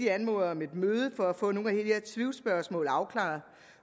anmoder om et møde for at få nogle af de her tvivlsspørgsmål afklaret